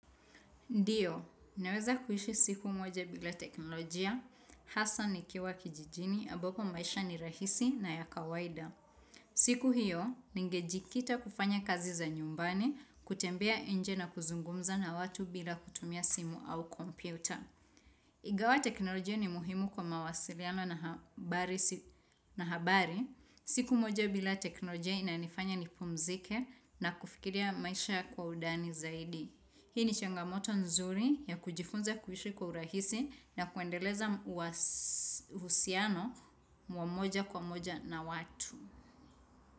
Ndiyo, naweza kuishi siku moja bila teknolojia, hasa nikiwa kijijini, ambapo maisha ni rahisi na ya kawaida. Siku hiyo, ningejikita kufanya kazi za nyumbani, kutembea nje na kuzungumza na watu bila kutumia simu au kompyuta. Ingawa teknolojia ni muhimu kwa mawasiliano na habari, siku moja bila teknolojia inanifanya nipumzike na kufikiria maisha kwa undani zaidi. Hii ni changamoto nzuri ya kujifunza kuhishi kwa urahisi na kuendeleza uhusiano wa moja kwa moja na watu.